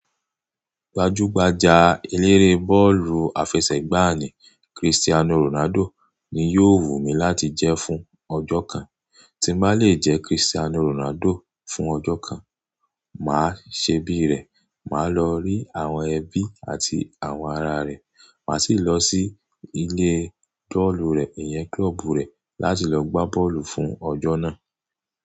Gbajúgbajà eléré bọ́ọ̀lù àfẹsẹ̀gbá ní Cristiano Ronaldo ni yóò wù mí láti jẹ́ fún ọjọ́ kan. Tí n bà lè jẹ́ Cristiano Ronaldo fún ọjọ́ kan, mà á ṣebí rẹ̀, mà á lọ rí àwọn ẹbí àti àwọn ará rẹ̀, mà sì lọ sí ilé bọọlu rẹ̀, ìyẹn klọ́ọ̀bù rẹ̀ láti lọ gbá bọ́ọ̀lù fún ọjọ́ náà.